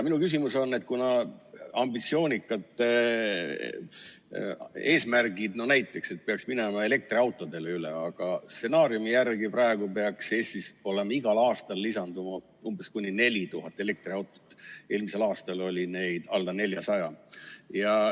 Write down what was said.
On ambitsioonikad eesmärgid, no näiteks see, et peaks üle minema elektriautodele, aga stsenaariumi järgi praegu peaks Eestis igal aastal lisanduma umbes kuni 4000 elektriautot, eelmisel aastal oli neid alla 400.